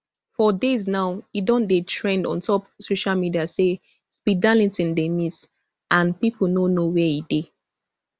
for days now e don dey trend ontop social media say speed darlington dey miss and pipo no know wia e dey